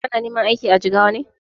Kana neman aiki a Jigawa ne?